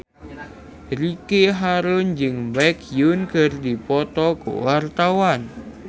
Ricky Harun jeung Baekhyun keur dipoto ku wartawan